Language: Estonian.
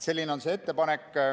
Selline on see ettepanek.